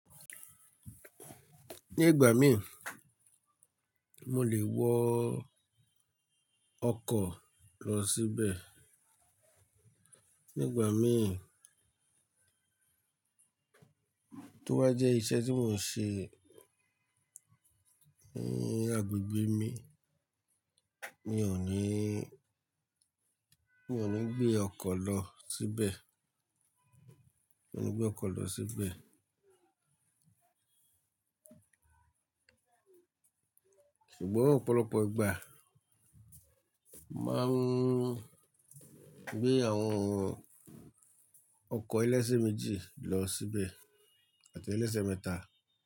Ní ìgbà mí, mo lè wọ ọkọ̀ lọ síbẹ̀. Ní ìgbà mí, tó bá jẹ́ iṣẹ́ tí mò ń ṣe ní agbègbè mi, mi ò ní, mi ò ní gbé ọkọ̀ lọ síbẹ̀. Mi ò ní gbé ọkọ̀ lọ síbẹ̀. Ṣùgbọ́n ọ̀pọ̀lọpọ̀ ìgbà, máa ń gbé àwọn ọkọ̀ ẹlẹ́ṣẹ̀ méjì lọ síbẹ̀ àti ẹlẹ́ṣẹ̀ mẹ́ta.